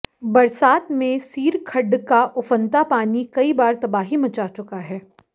बरसात में सीर खड्ड का उफनता पानी कई बार तबाही मचा चुका है